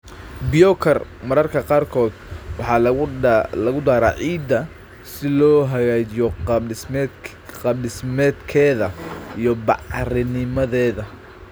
Biochar mararka qaarkood waxaa lagu daraa ciidda si loo hagaajiyo qaab-dhismeedkeeda iyo bacrinnimadeeda.